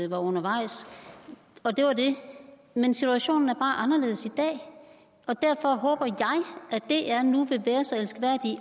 var undervejs og det var det men situationen er bare anderledes i dag og derfor håber jeg at dr nu vil være så elskværdig